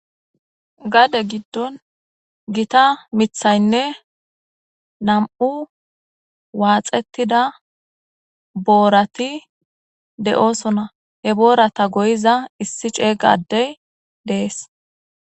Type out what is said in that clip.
Gade giddon githa miththaynne nam7u waaxeththida boorathi de7oosona; he booratha goyiza issi ceega addee de7ees.